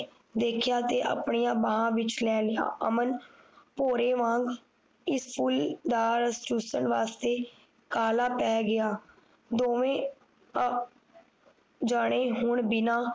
ਦੇਖਿਆ ਤੇ ਆਪਣੀਆਂ ਬਾਹਾਂ ਵਿਚ ਲੈ ਲਿਆ ਅਮਨ ਨਾਲ ਚੂਸਣ ਵਾਸਤੇ ਕਾਹਲਾ ਪੈ ਗਿਆ ਦੋਵੇ ਅਹ ਜਾਣੇ ਹੋਣ ਬਿਨਾਂ